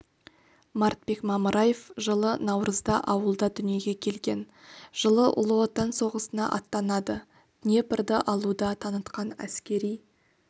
мартбек мамыраев жылы наурызда ауылда дүниеге келген жылы ұлы отан соғысына аттанады днепрды алуда танытқан әскери